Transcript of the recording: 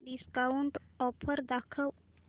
discount offer दाखव